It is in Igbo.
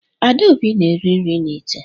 Adaobi na-eriri n'ite